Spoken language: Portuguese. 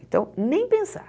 Então, nem pensar.